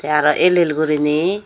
te arow el el guriney.